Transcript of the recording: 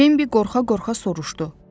Bimbi qorxa-qorxa soruşdu.